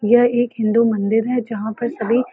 यह एक हिन्दू मंदिर है जहाँ पर सभी --